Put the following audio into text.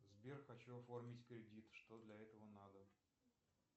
сбер хочу оформить кредит что для этого надо